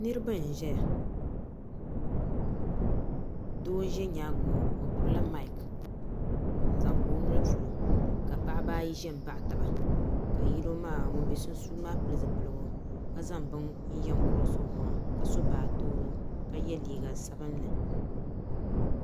Niraba n ʒɛya doo n ʒɛ nyaangi ŋo o gbubila maik n zaŋ kpa o noli polo ka paɣaba ayi ʒi n baɣa taba ka ŋun bɛ sunsuuni maa pili zipiligu ka zaŋ bini yɛ kurosi o maŋ ka so baatoro ka yɛ liiga sabinli